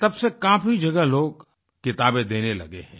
तब से काफ़ी जगह लोग किताबें देने लगे हैं